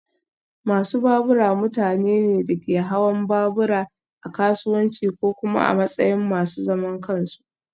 Masu babura mutane ne da ke hawan babura a kasuwanci ko kuma a matsayin masu zaman kansu